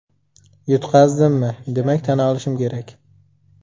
Yutqazdimmi, demak tan olishim kerak.